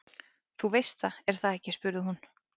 Þú veist það, er það ekki spurði hún.